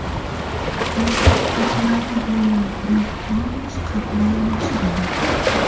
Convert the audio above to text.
Toshkent ko‘chalari bo‘ylab elektrobus qatnay boshladi .